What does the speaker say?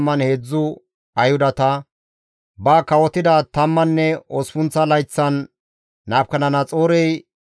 ba kawotida tammanne osppunththa layththan Nabukadanaxoorey 832 as,